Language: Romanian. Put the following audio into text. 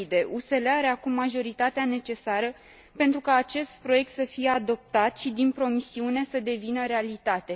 USL are acum majoritatea necesară pentru ca acest proiect să fie adoptat și din promisiune să devină realitate!